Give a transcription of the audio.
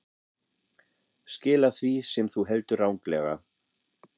Skila því sem þú heldur ranglega.